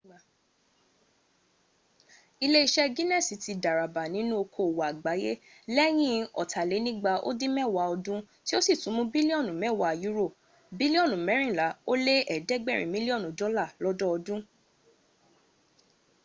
iléeṣẹ́ guinness ti dàràbà nínú okoòwò àgbáyé lẹ́yìn ọ̀tàlénígba ó dín mẹ́wàá ọdún tí ó sì ti mún bílíọ̀nù mẹ́wàá euro bílíọ̀nù mẹ́rìnlá ó lé ẹ̀dẹ́gbẹ̀rin mílíọ̀nù dọ́là lọ́dọdún